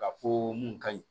Ka fɔ mun ka ɲi